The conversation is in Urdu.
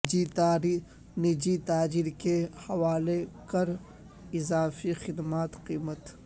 نجی تاجر کے حوالے کر اضافی خدمات کی قیمت